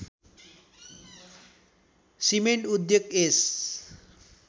cement उद्योग यस